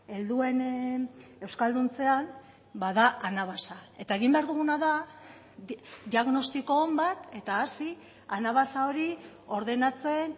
helduen euskalduntzean ba da anabasa eta egin behar duguna da diagnostiko on bat eta hasi anabasa hori ordenatzen